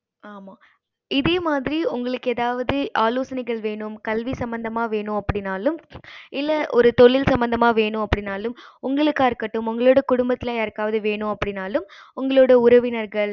ஆமா இதே மாறி உங்களுக்கு எதாவது ஆலோசனைகள் வென்னும் கல்வி சம்பந்தமா வென்னும் அப்படினாலும் இல்ல ஒரு தொழில் சம்பந்தமா வென்னும் அப்படினாலும் உங்களுக்கா இருக்கட்டும் உங்களோட குடும்பத்துல யாருக்க வேண்டும் அப்படினாலும் உங்களோட உறவினர்கள்